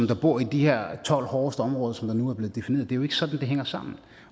der bor i de her tolv hårdeste områder der nu er blevet defineret det er jo ikke sådan det hænger sammen